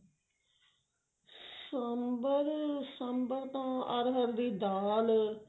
ਸਾਂਬਰ ਸਾਂਬਰ ਤਾਂ ਹਰ ਹਰ ਦੀ ਦਾਲ